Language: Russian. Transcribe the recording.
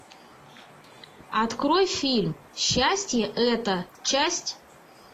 открой фильм счастье это часть